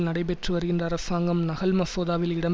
நடைபெற்று வருகின்ற அரசாங்கம் நகல் மசோதாவில் இடம்